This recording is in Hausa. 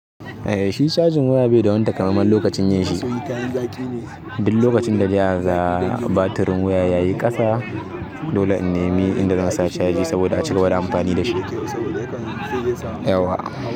Shi cajin waya bai da wani takamaiman lokacin yin shi. Duk lokacin da zakaga batirin waya yayi ƙasa dole in ne mi inda zan sa chaji saboda acigaba da amfani dashi yawwa.